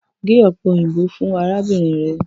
Ge ope oyinbo fun arabinrin rẹ!